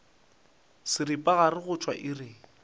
seripagare go tšwa go iri